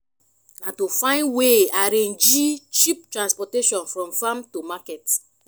na to find way arrangee cheap transportation from farm to market